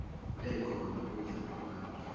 ekhona uhla lwabantu